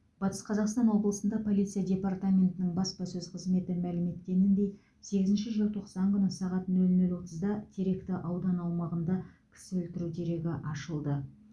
батыс қазақстан облысында полиция департаментінің баспасөз қызметі мәлім еткеніндей сегізінші желтоқсан күні сағат нөл нөл отызда теректі ауданы аумағында кісі өлтіру дерегі ашылды